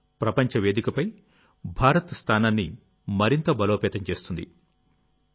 ఇది ప్రపంచ వేదికపై భారత్ స్థానాన్ని మరింత బలోపేతం చేస్తుంది